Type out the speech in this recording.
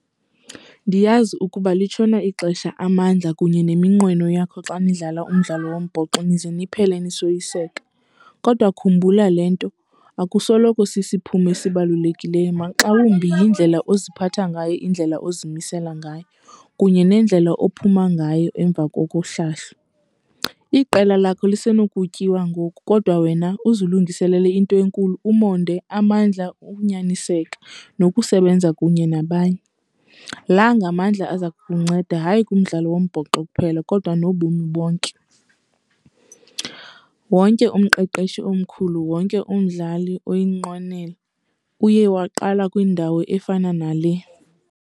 Ndiyazi ukuba litshona ixesha, amandla kunye neminqweno yakho xa nidlala umdlalo wombhoxo nize niphele nisoyiseka. Kodwa khumbula le nto, akusoloko isisiphumo esibalulekileyo maxa wumbi yindlela oziphatha ngayo, indlela ozimisela ngayo kunye nendlela ophuma ngayo emva kokuhlahlo. Iqela lakho lisenokutyiwa ngoku kodwa wena uzilungiselele into enkulu, umonde, amandla, ukunyaniseka nokusebenza kunye nabanye. La ngamandla aza kunceda, hayi kumdlalo wombhoxo kuphela kodwa nobomi bonke. Wonke umqeqeshi omkhulu, wonke umdlali oyinqwenela uye waqala kwindawo efana nale.